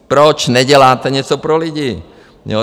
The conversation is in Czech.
Proč neděláte něco pro lidi?